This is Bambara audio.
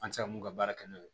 An tɛ se ka mun ka baara kɛ n'o ye